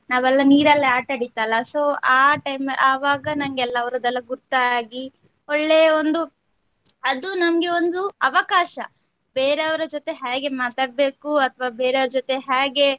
ನಾವೆಲ್ಲ ನೀರಲ್ಲಿ ಆಟ ಆಟಾಡಿತಲ್ಲ so ಆ time ಆವಾಗ ನಂಗೆ ಎಲ್ಲ ಅವರದೆಲ್ಲ ಗೊತ್ತಾಗಿ ಒಳ್ಳೆಯ ಒಂದು ಅದು ನಮ್ಗೆ ಒಂದು ಅವಕಾಶ ಬೇರೆಯವರ ಜೊತೆ ಹ್ಯಾಗೆ ಮಾತಾಡ್ಬೇಕು ಅಥವಾ ಬೇರೆವರ ಜೊತೆ ಹ್ಯಾಗೆ.